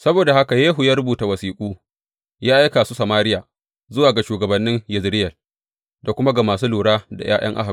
Saboda haka Yehu ya rubuta wasiƙu, ya aika su Samariya, zuwa ga shugabannin Yezireyel, da kuma ga masu lura da ’ya’yan Ahab.